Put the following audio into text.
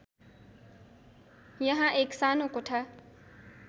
यहाँ एक सानो कोठा